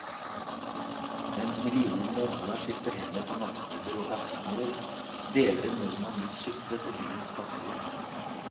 Mens millioner av dollar skifter hender på nattklubber og kasinoer, deler en nordmann ut suppe til byens fattige.